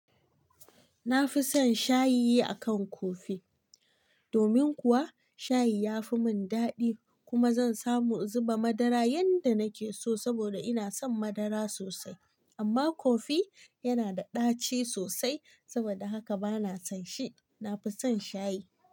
Na fi son shayi a kan kofi. Domin kuwa shayi ya fi mun daɗi kuma zan samu in zuba madara yanda nake so saboda ina son madara sosai. Amma kofi yana da ɗaci sosai saboda haka bana son shi. Na fi son shayi.